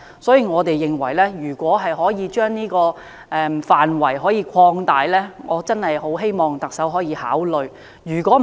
因此，我們認為可以將調查範圍擴大，我確實希望特首可以考慮這做法。